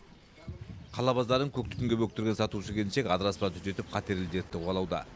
қала базарын көк түтінге бөктірген сатушы келіншек адыраспан түтетіп қатерлі дертті қуалауда